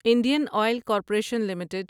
Indian oil corporation limited